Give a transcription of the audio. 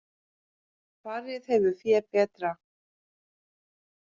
Farið hefur fé betra